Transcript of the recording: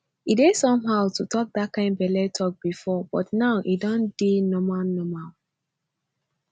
e dey somehow to talk that kind belle talk before but now e don dey normal normal